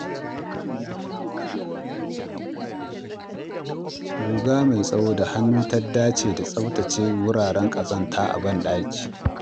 Guga mai tsawo da hannu ta dace da tsaftace wuraren ƙazanta a bandaki.